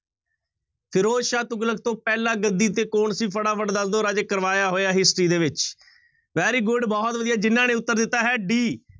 ਫ਼ਿਰੋਜ਼ ਸ਼ਾਹ ਤੁਗਲਕ ਤੋਂ ਪਹਿਲਾਂ ਗੱਦੀ ਤੇ ਕੌਣ ਸੀ, ਫਟਾਫਟ ਦੱਸ ਦਓ ਰਾਜੇ ਕਰਵਾਇਆ ਹੋਇਆ history ਦੇ ਵਿੱਚ very good ਬਹੁਤ ਵਧੀਆ ਜਿਹਨਾਂ ਨੇ ਉੱਤਰ ਦਿੱਤਾ ਹੈ d